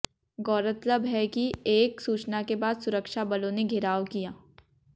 गौरतलब है कि एक सूचना के बाद सुरक्षा बलों ने घेराव किया